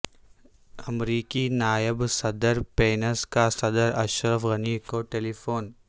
امریکی نائب صدر پینس کا صدر اشرف غنی کو ٹیلی فون